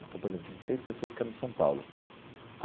Então, por exemplo, tinham seis pessoas que eram de São Paulo.